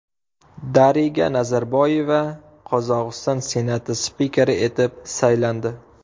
Dariga Nazarboyeva Qozog‘iston Senati spikeri etib saylandi.